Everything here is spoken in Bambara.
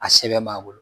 A sɛbɛn b'a bolo